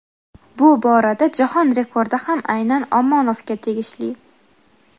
bu borada jahon rekordi ham aynan Omonovga tegishli.